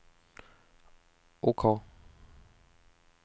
OK